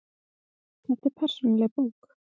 Þetta er persónuleg bók.